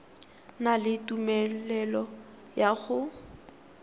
na le tumelelo ya go